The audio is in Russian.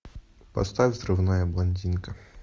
поставь взрывная блондинка